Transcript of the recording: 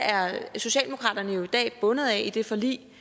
bundet af i det forlig